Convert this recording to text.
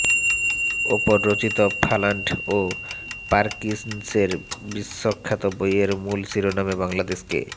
ওপর রচিত ফালান্ড ও পার্কিন্সনের বিশ্বখ্যাত বইয়ের মূল শিরোনামে বাংলাদেশকে